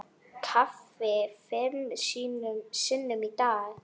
Kaffi fimm sinnum á dag.